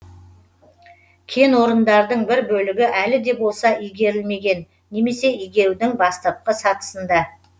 кенорындардың бір бөлігі әлі де болса игерілмеген немесе игерудің бастапқы сатысында